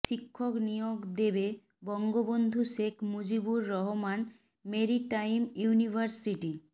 শিক্ষক নিয়োগ দেবে বঙ্গবন্ধু শেখ মুজিবুর রহমান মেরিটাইম ইউনিভার্সিটি